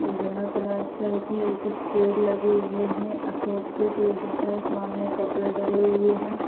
ई बिना प्लास्टर किए कुछ पेड़ लगे हुए हैं अशोक के पेड़ दिख रहे सामने कपड़े डले हुए हैं।